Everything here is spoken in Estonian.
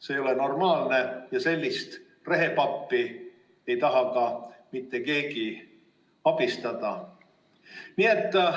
See ei ole normaalne ja sellist rehepappi ei taha ka mitte keegi abistada.